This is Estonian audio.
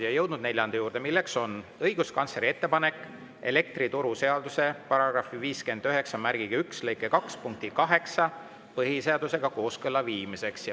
Oleme jõudnud neljanda juurde, milleks on õiguskantsleri ettepanek elektrituruseaduse § 591 lõike 2 punkti 8 põhiseadusega kooskõlla viimiseks.